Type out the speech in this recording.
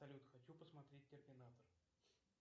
салют хочу посмотреть терминатор